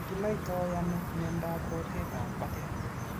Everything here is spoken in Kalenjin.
Kinaitoi ano miondap rotet ap patet